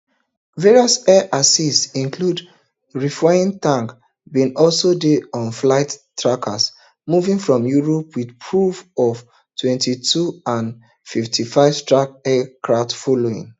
various air assets including refuelling tankers bin also dey on flight trackers moving from europe with reports of ftwenty-two and fthirty-five strike aircraft following